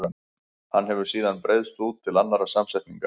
Hann hefur síðan breiðst út til annarra samsetninga.